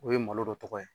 O ye malo dɔ tɔgɔ ye